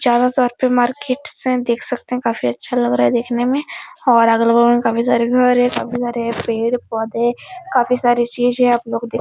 चार हजार पे मार्किटस हैं देख सकते हैं | काफी अच्छा लग रहा है देखने मै और अगल बगल मै काफी सारे घर है | काफी सारे पेड़ पौधे काफी सारे चीजे आपलोग देख --